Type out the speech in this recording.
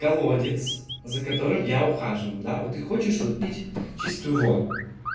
колодец за которым я ухаживаю да вот ты хочешь вот пить чистую воду